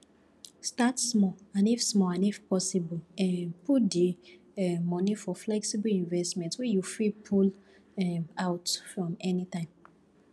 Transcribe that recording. start small and if small and if possible um put di um money for flexible investment wey you fit pull um out from anytime